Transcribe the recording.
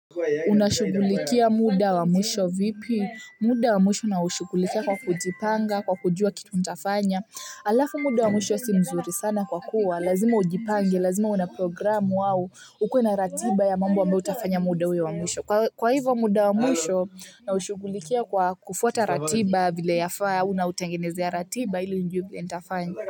Unashugulikia muda wa mwisho vipi muda wa mwisho naushugulikia kwa kujipanga kwa kujua kitu nitafanya alafu muda wa mwisho si mzuri sana kwa kuwa lazima ujipange lazima una programu au ukuwe na ratiba ya mambo ambayo utafanya muda huo wa mwisho kwa hivo muda wa mwisho naushughulikia kwa kufuata ratiba vile yafaa au nautengenezea ratiba ili nijuwe vile ntafanya.